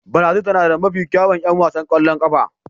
Brazil tana da mafi kyawun 'yan wasan ƙwallon ƙafa.